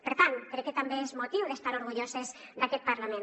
per tant crec que també és motiu per estar orgulloses d’aquest parlament